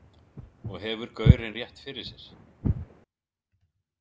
Og hefur gaurinn rétt fyrir sér?